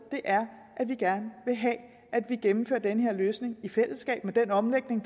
er at vi gerne vil have at vi gennemfører den her løsning i fællesskab med den omlægning